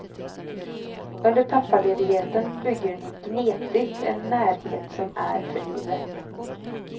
Under pappaledigheten bygger ni gnetigt en närhet som är för livet.